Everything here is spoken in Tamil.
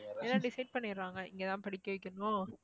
எல்லாம் decide பண்ணிடுறாங்க இங்கதான் படிக்க வைக்கணும்